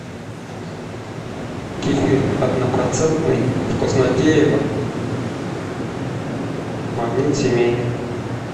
кефир однопроцентный вкуснотеево магнит семейный